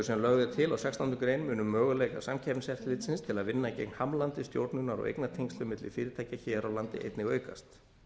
sem lögð er til á sextándu grein munu möguleikar samkeppniseftirlitsins til að vinna gegn hamlandi stjórnunar og eignatengslum milli fyrirtækja hér á landi einnig aukast